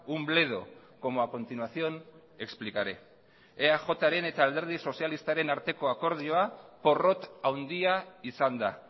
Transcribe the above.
un bledo como a continuación explicaré eajren eta alderdi sozialistaren arteko akordioa porrot handia izan da